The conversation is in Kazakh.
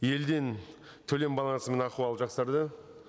елден төлем бағасының ахуалы жақсарды